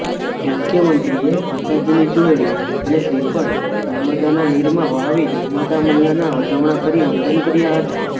મુખ્યમંત્રીએ માતાજીની ચૂંદડી અને શ્રીફળ નર્મદાના નીરમાં વહાવી નર્મદા મૈય્યાના વધામણાં કરી વંદન કર્યા હતા